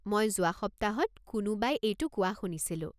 মই যোৱা সপ্তাহত কোনোবাই এইটো কোৱা শুনিছিলোঁ।